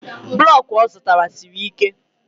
blọk ọ zụtara siri ike